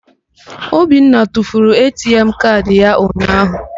Obinna tufuru ATM kaadị ya unyaahụ.